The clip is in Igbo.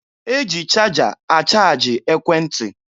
E ji chaja achaaji ekwentị.